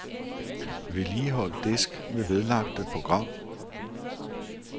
Vedligehold disk med vedlagte program.